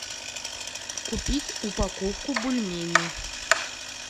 купить упаковку бульмени